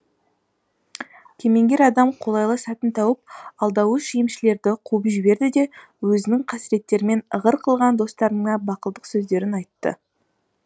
кемеңгер адам қолайлы сәтін тауып алдауыш емшілерді қуып жіберді де өзінің қасіреттерімен ығыр қылған достарына бақылдық сөздерін айтады